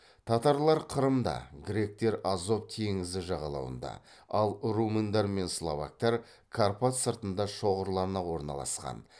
татарлар қырымда гректер азов теңізі жағалауында ал румындар мен словактар карпат сыртында шоғырлана орналасқан